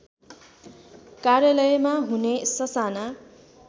कार्यालयमा हुने ससाना